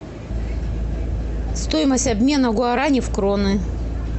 стоимость обмена гуарани в кроны